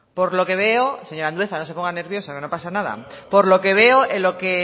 por lo que veo señor andueza no se ponga nervioso que no pasa nada por lo que veo en lo que